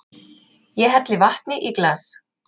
Ég helli vatni í glas.